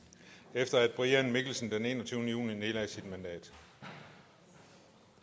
efter at brian mikkelsen den enogtyvende juni nedlagde sit mandat